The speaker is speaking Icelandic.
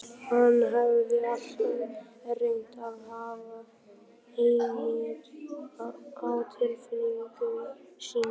Hann hafði alltaf reynt að hafa hemil á tilfinningum sínum.